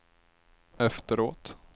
efteråt